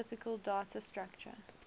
typical data structure